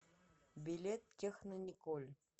билет технониколь